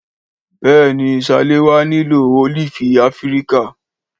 Béèni Salewa nílò ólífì áfíríkà